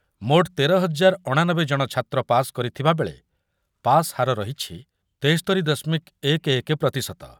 ମୋଟ୍ ତେର ହଜାର ଅଣାନବେ ଜଣ ଛାତ୍ର ପାସ୍ କରିଥିବା ବେଳେ ପାସ୍ ହାର ରହିଛି ତେସ୍ତୋରି ଦଶମିକ ଏକ ଏକ ପ୍ରତିଶତ ।